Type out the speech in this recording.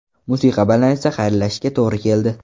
Musiqa bilan esa xayrlashishga to‘gri keldi.